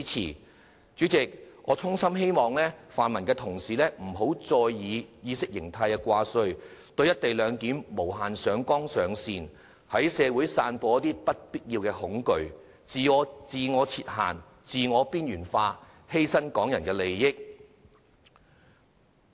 代理主席，我衷心希望泛民同事不要再以意識形態掛帥，對"一地兩檢"無限上綱上線，在社會散播不必要的恐懼，自我設限，自我邊緣化，犧牲香港人的利益。